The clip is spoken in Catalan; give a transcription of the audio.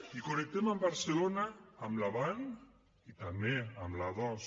i connectem amb barcelona amb l’avant i també amb l’a dos